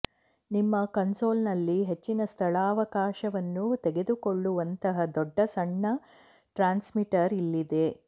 ನಿಮ್ಮ ಕನ್ಸೋಲ್ನಲ್ಲಿ ಹೆಚ್ಚಿನ ಸ್ಥಳಾವಕಾಶವನ್ನು ತೆಗೆದುಕೊಳ್ಳುವಂತಹ ದೊಡ್ಡ ಸಣ್ಣ ಟ್ರಾನ್ಸ್ಮಿಟರ್ ಇಲ್ಲಿದೆ